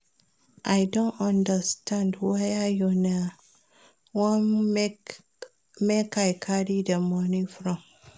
I no understand where una wan make I carry the money from